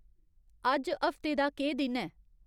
अज्ज हफ्ते दा केह् दिन ऐ